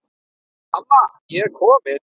Amma ég er komin